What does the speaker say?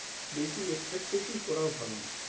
বেশি expectation করাও ভালো নয়।